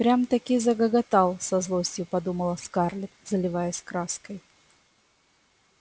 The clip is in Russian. прямо-таки загоготал со злостью подумала скарлетт заливаясь краской